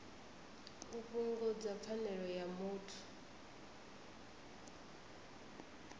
u fhungudza pfanelo ya muthu